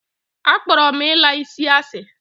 A kporo m ila isi asi.